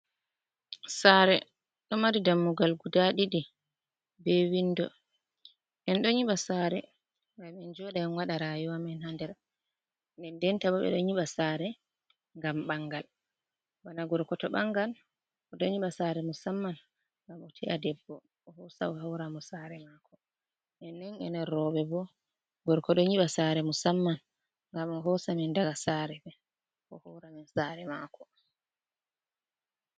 Sare ɗo mari dammugal guda ɗiɗi be windo, en ɗo nyiɓa sare ngam en joɗa en wada rayuwa amin hander, nden ndenta bo ɓeɗo nyiɓa sare ngam ɓangal bana gorko to ɓangan o ɗoo nyiɓa sare musamman ngam o te’a debbo o hosa o hawramo sare mako, ennen ener roɓe bo gorko ɗo nyiɓa sare musamman ngam o hosamen daga sare o horamin sare mako.